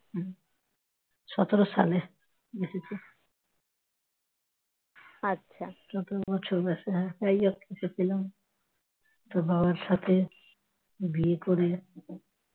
সতেরো বছর বয়সে হ্যাঁ তাইতো তোকে পেলাম তোর বাবার সাথে বিয়ে করে